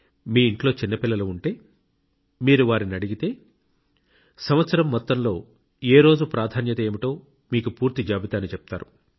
మీ ఇంట్లో చిన్న పిల్లలు ఉంటే మీరు వారిని అడిగితే సంవత్సరం మొత్తంలో ఏ రోజు ప్రాధాన్యత ఏమిటో మీకు పూర్తి జాబితాను చెప్తారు